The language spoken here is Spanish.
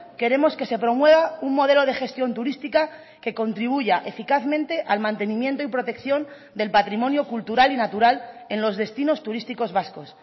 queremos que se promueva un modelo de gestión turística que contribuya eficazmente al mantenimiento y protección del patrimonio cultural y natural en los destinos turísticos vascos